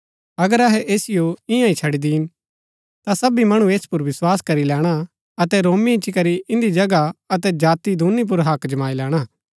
अगर अहै ऐसिओ ईयां ही छड़ी दिन ता सबी मणु ऐस पुर विस्वास करी लैणा अतै रोमी इच्ची करी इन्दी जगह अतै जाति दूनी पुर हक्क जमाई लैणा